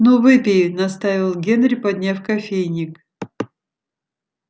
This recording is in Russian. ну выпей настаивал генри подняв кофейник